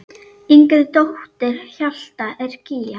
Yngri dóttir Hjalta er Gígja.